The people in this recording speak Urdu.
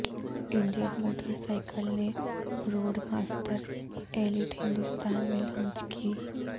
انڈین موٹر سائیکل نے روڈماسٹر ایلیٹ ہندوستان میں لانچ کی